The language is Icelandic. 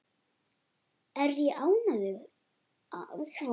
Er ég ánægður?